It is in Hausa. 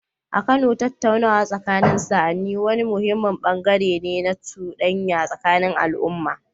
A Kano, tattaunawa tsakanin sa'anni wani muhimmin bangare ne na cudanya tsakanin al’umma.